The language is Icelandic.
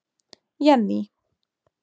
Jenný